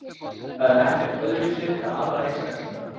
Það er ekkert öðruvísi með aðra einstaklinga.